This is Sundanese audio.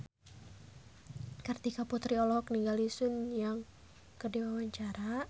Kartika Putri olohok ningali Sun Yang keur diwawancara